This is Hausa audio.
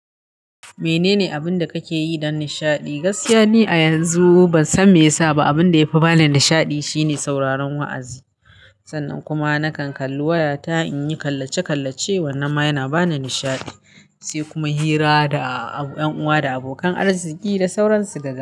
Menene abin da kake yi don nishaɗi? Gaskiya ne a yanzu ban san me yasa ba, abin da yafi bani nishaɗi shine sauraron wa'azi. Sannan kuma nakan kalli wayata in yi kallace-kallace, wannan ma yana bani nishaɗi, sai kuma hira da ƴan uwa da abokan arziki da sauransu daga.